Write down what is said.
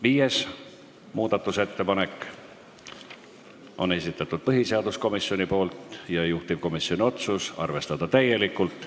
Viienda muudatusettepaneku on esitanud põhiseaduskomisjon, juhtivkomisjoni otsus on arvestada täielikult.